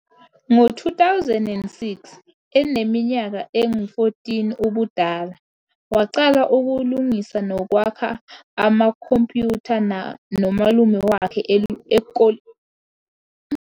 Ngo-2006, eneminyaka engu-14 ubudala, waqala ukulungisa nokwakha amakhompyutha nomalume wakhe elokishini elincane eSwazini. UPhiwa wayengumfundi wezomthetho eNyuvesi yasePitoli ngaphambi kokuyeka ukuyovula inkampani yakhe yokuqala yezobuchwepheshe i-Cybatar esuka egaraji lakhe ngo-2014.